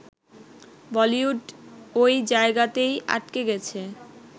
বলিউড ওই জায়গাতেই আটকে গেছে